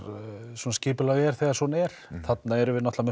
skipulag er þegar svona er þarna erum við náttúrlega